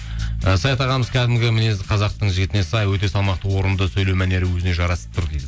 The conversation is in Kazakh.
і саят ағамыз кәдімгі мінезі қазақтың жігітіне сай өте салмақты орынды сөйлеу мәнері өзіне жарасып тұр дейді